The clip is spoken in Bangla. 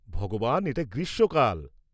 -ভগবান, এটা গ্রীষ্মকাল!